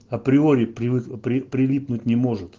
априори прилипнуть не может